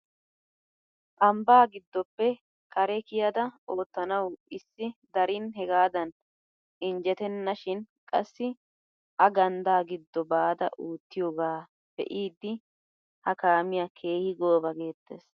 Ambbaa gidoppe kare kiyada oottanawu issi darin hegaadan injjetenna shin qassi a ganddaa giddo baada oottiyooga be'idi ha kamiyaa keehi gooba geettees!